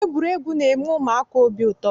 Egwuregwu na-eme ụmụaka obi ụtọ.